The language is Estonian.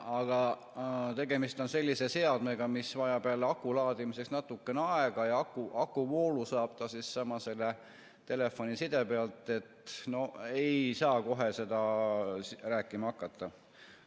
Aga tegemist on sellise seadmega, mis vajab aku laadimiseks natukene aega ja akuvoolu saab ta selle telefoniside pealt, et no ei saa kohe rääkima hakata.